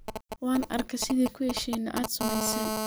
Wan aarke sidhi kuheshine aad sumeyse.